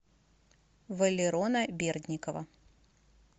валерона бердникова